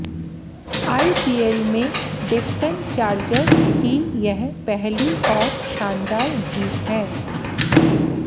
IPL में Deccan Chargers की यह पहली और शानदार जीत है